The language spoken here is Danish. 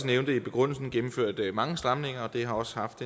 nævnte i begrundelsen gennemført mange stramninger og det har også haft